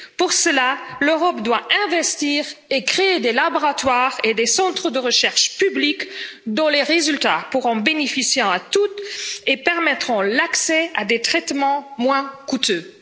Pour cela, l'Europe doit investir et créer des laboratoires et des centres de recherche publics dont les résultats pourront bénéficier à tous et permettront l'accès à des traitements moins coûteux.